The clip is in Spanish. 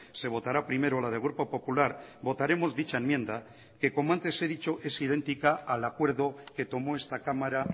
se votará primero la del grupo popular votaremos dicha enmienda que como antes he dicho es idéntica al acuerdo que tomó esta cámara